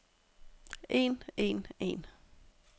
en en en